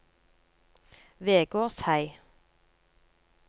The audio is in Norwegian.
Vegårshei